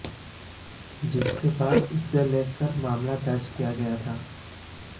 जिसके बाद इसे लेकर मामला दर्ज किया गया था